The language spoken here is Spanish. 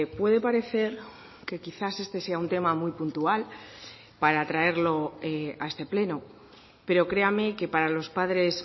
puede parecer que quizás este sea un tema muy puntual para traerlo a este pleno pero créame que para los padres